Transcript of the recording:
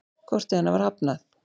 Korti hennar var hafnað.